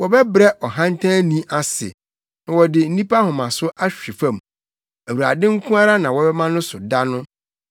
Wɔbɛbrɛ ɔhantanni ase, na wɔde nnipa ahomaso ahwe fam; Awurade nko ara na wɔbɛma no so da no,